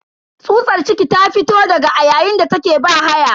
Tsutsar ciki ta fito daga a yayin da take bahaya.